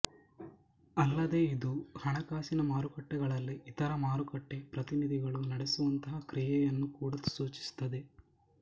ಅಲ್ಲದೇ ಇದು ಹಣಕಾಸಿನ ಮಾರುಕಟ್ಟೆಗಳಲ್ಲಿ ಇತರ ಮಾರುಕಟ್ಟೆ ಪ್ರತಿನಿಧಿಗಳು ನಡೆಸುವಂತಹ ಕ್ರಿಯೆಯನ್ನೂ ಕೂಡ ಸೂಚಿಸುತ್ತದೆ